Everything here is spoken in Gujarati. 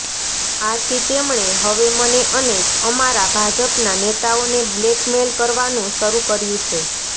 આથી તેમણે હવે મને અને અમારા ભાજપના નેતાઓને બ્લેક મેઈલ કરવાનું શરૂ કર્યું છે